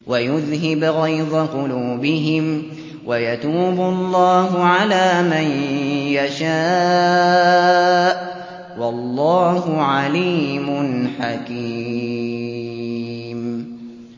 وَيُذْهِبْ غَيْظَ قُلُوبِهِمْ ۗ وَيَتُوبُ اللَّهُ عَلَىٰ مَن يَشَاءُ ۗ وَاللَّهُ عَلِيمٌ حَكِيمٌ